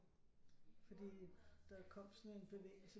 Fordi der kom sådan en bevægelse